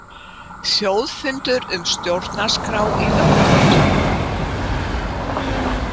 Þjóðfundur um stjórnarskrá í nóvember